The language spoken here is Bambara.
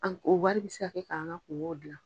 An ko wari bɛ se k'an ka kungow dilan.